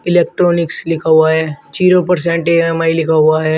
Electronics लिखा हुआ है जीरो पर्सेन्ट ई_एम_आई लिखा हुआ है।